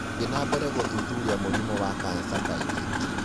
Thiĩ na mbere gũthuthuria mũrimũ wa kansa kaingĩ.